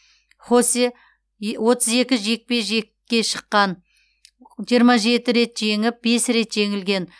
хосе отыз екі жекпе жекке шыққан жиырма жеті рет жеңіп бес рет жеңілген